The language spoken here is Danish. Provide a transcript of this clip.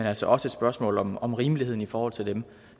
altså også et spørgsmål om om rimeligheden i forhold til dem